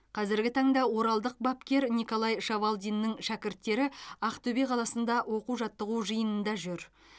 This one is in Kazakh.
қазіргі таңда оралдық бапкер николай шавалдиннің шәкірттері ақтөбе қаласында оқу жаттығу жиынында жүр